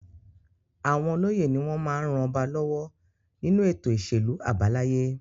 Àwọn olóyè ni wọ́n máa ń ran ọba lọ́wọ́ nínú ètò ìṣèlú àbáláyé.